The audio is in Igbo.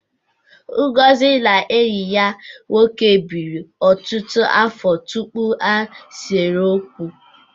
Ngozi na enyi ya nwoke biri ọtụtụ afọ tupu ha esee okwu.